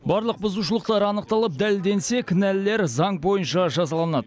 барлық бұзушылықтар анықталып дәлелденсе кінәлілер заң бойынша жазаланады